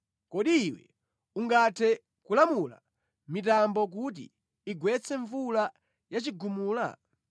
“Kodi iwe ungathe kulamula mitambo kuti igwetse mvula ya chigumula?